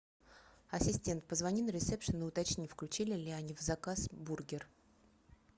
ассистент позвони на ресепшен и уточни включили ли они в заказ бургер